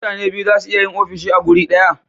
mutane biyu zasu iya yin ofishi a guri daya